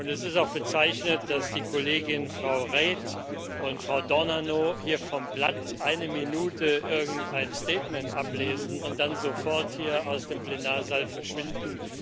Es ist auch bezeichnend, dass die Kolleginnen, Frau Reid und Frau D'Ornano, hier vom Blatt eine Minute irgendein Statement ablesen und dann sofort hier aus dem Plenarsaal verschwinden.